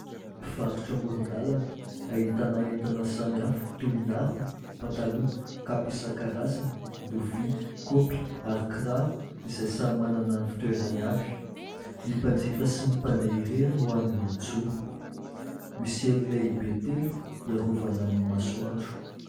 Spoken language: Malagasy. Mpivarotra amoron-dalana ahitana entana samihafa toy ny harona, pataloha, kapa isan-karazany, lovia, kaopy ary kiraro izay samy manana ny fitoerany avy. Ny mpanjifa sy ny mpandeha irery no hany mijoro. Misy elo lehibe telo iarovana amin'ny masoandro.